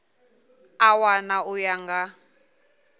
a wana u ya nga